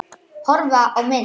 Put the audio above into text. Horfa á mynd